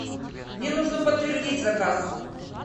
мне нужно подтвердить заказ